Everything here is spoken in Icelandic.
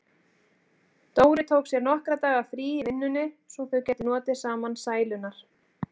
Dóri tók sér nokkurra daga frí í vinnunni svo þau gætu notið saman sælunnar.